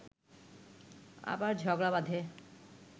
আবার ঝগড়া বাঁধে